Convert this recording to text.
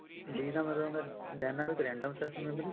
D ਦਾ ਮਤਲਬ ਹੁੰਦਾ dynamic random access memory